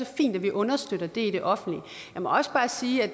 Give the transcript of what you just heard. fint at vi understøtter i det offentlige jeg må også bare sige at